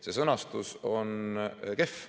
See sõnastus on kehv.